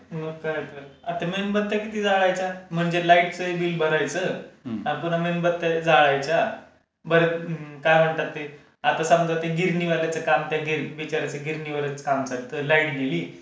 मग काय तर. आता मेणबत्त्या किती जाळायच्या? म्हणजे लाईटचहि बिल भरायचं अजून मेणबत्त्या जाळायच्या. बरं काय म्हणतात ते. आता समजा ते गिरणी वाल्याचं काम आता गिरणी वाल्याचा काम चालतं, लाईट गेली,